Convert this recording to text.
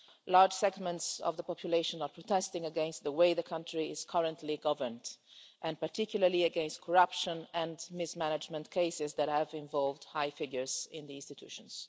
Large segments of the population are protesting against the way the country is currently governed and particularly against corruption and mismanagement cases that have involved high figures in the institutions.